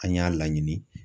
An y'a laɲini.